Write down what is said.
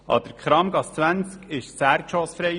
An der Kramgasse 20 wurde das Erdgeschoss frei.